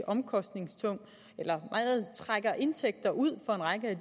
omkostningstung eller meget trækker indtægter ud fra en række af